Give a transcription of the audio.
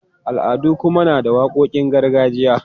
Al'adu kuma na da waƙoƙin gargajiya.